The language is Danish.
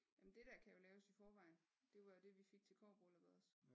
Jamen det der kan jo laves i forvejen det var det vi fik til kobberbrylluppet også